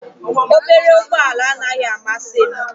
Obere ụgbọ ala anaghị amasị m